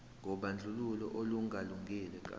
kobandlululo olungalungile ka